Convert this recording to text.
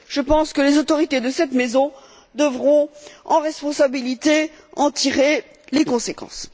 Je pense que les autorités de cette maison devront prendre leurs responsabilités et en tirer les conséquences.